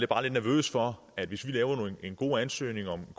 bare lidt nervøs for at hvis vi laver en god ansøgning om